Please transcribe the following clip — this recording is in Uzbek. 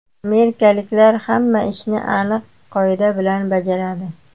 Amerikaliklar hamma ishni aniq qoida bilan bajaradi.